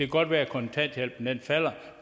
godt være at kontanthjælpen falder